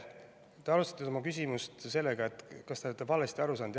Te alustasite oma küsimust sellega, et kas te olete valesti aru saanud.